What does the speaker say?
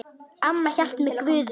Amma hélt með Guði.